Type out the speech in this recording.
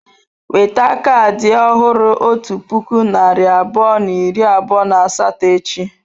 Weta kaadị ọhụrụ otu puku narị abụọ na iri abụọ na asatọ echi.